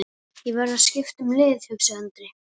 Ég verð að skipta um lið, hugsaði Andri.